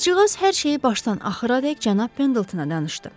Qızcığaz hər şeyi başdan axıradək cənab Pendletona danışdı.